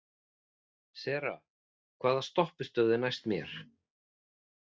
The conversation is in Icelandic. Sera, hvaða stoppistöð er næst mér?